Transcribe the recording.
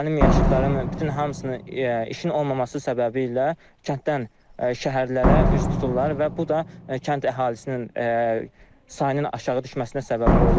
Mənim yaşıdlarımın bütün hamısını işin olmaması səbəbiylə kənddən şəhərlərə üz tuturlar və bu da kənd əhalisinin sayının aşağı düşməsinə səbəb olur.